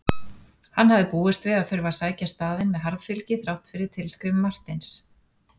Hann hafði búist við að þurfa að sækja staðinn með harðfylgi þrátt fyrir tilskrif Marteins.